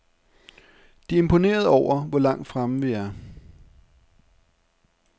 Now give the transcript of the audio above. De er imponerede over, hvor langt fremme vi er.